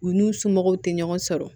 U n'u somɔgɔw te ɲɔgɔn sɔrɔ